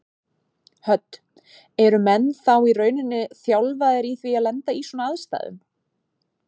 Hödd: Eru menn þá í rauninni þjálfaðir í því að lenda í svona aðstæðum?